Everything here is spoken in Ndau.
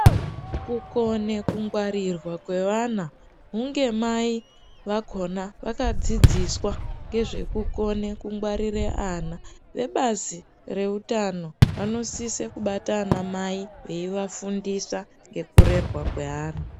Kukone kungwarirwa kwevana hunge mai vakona vakadzidziswa ngezvekukone kungwarira ana vebazi reutano vanosise kubata anamai veivafundisa ngekurerwa kweana.